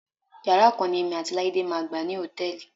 Yàrá kan ni èmi àti Láídé máa gbà ní hòtẹ́ẹ̀lì.